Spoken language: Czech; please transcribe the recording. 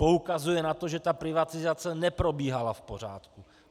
Poukazuje na to, že ta privatizace neprobíhala v pořádku.